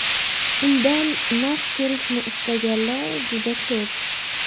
Undan naf ko‘rishni istaganlar juda ko‘p.